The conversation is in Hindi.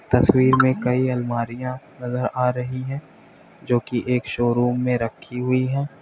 तस्वीर में कई अलमारियां नजर आ रही है जो कि एक शोरूम में रखी हुई हैं।